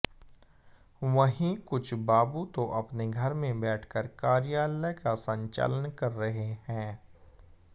वहीं कुछ बाबू तो अपने घर में बैठकर कार्यालय का संचालन कर रहे हैं